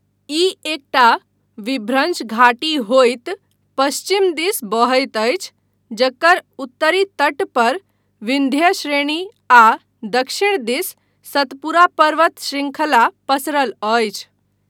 ई एकटा विभ्रंश घाटी होइत पश्चिम दिस बहैत अछि, जकर उत्तरी तट पर विन्ध्य श्रेणी आ दक्षिण दिस सतपुरा पर्वत शृंखला पसरल अछि।